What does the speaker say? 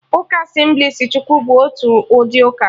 Ụka Asemblịes Chukwu bụ otu ụdị uka